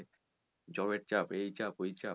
job এর চাপ এই চাপ ওই চাপ